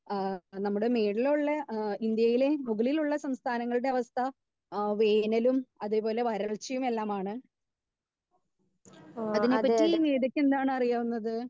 Speaker 2 ഏഹ് നമ്മുടെ മേളിലുള്ള ഏഹ് ഇന്ത്യയിലെ മുകളിലുള്ള സംസ്ഥാനങ്ങളുടെ അവസ്ഥ ഏഹ് വേനലും അതേ പോലെ വരൾച്ചയും എല്ലാമാണ്. അതിനെ പറ്റി മീതക്ക് എന്താണ് അറിയാവുന്നത്?